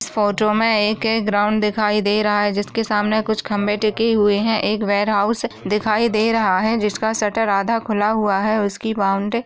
इस फोटो मे एक ग्राउन्ड दिखाई दे रहा है जिस के सामने कुछ खंभे टीके हुवे है एक वेर हाउस दिखाई दे रहा है जिस का शटर आधा खुला हुआ है उसकी बॉउन्ड्री --